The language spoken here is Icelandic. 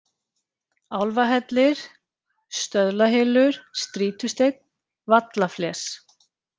Álfahellir, Stöðlahylur, Strýtusteinn, Vallafles